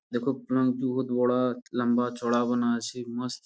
দেখো বহুত বড়া লম্বা চওড়া বানা আছে মস্ত।